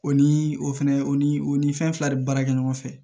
O ni o fɛnɛ o ni o ni fɛn fila de baara kɛ ɲɔgɔn fɛ